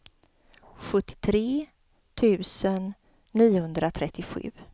sjuttiotre tusen niohundratrettiosju